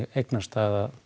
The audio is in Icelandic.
eignastaða